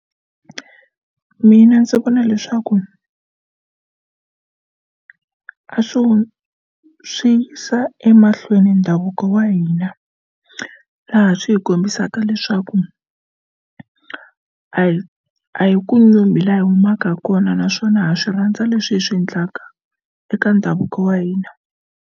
Mina ndzi vona leswaku a swi swi yisa emahlweni ndhavuko wa hina laha swi hi kombisaka leswaku a hi a hi ku nyumi laha hi humaka kona naswona ha swi rhandza leswi hi swi endlaka eka ndhavuko wa hina.